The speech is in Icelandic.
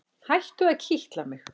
Hættu að kitla mig.